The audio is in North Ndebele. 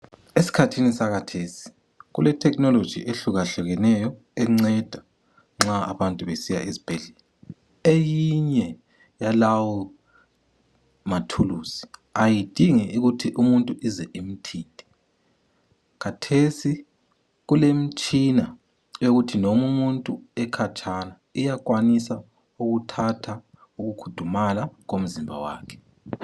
Eskhathini sakathesi kule technology ehlukahlukeneyo encenda nxa abantu besiya esibhedlela eyinye yalawo mathuluzi ayidingi ukuthi umuntu ukuze imuthinte kathesi kulemitshina ekuthi noma umuntu ekhatshana iyakwanisa ukuthatha uku kudumala komzimba wakhe